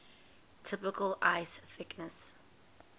typical ice thickness